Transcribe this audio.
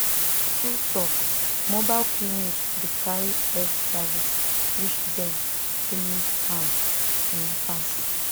true talk mobile clinic dey carry health service reach dem wey need am ehm pass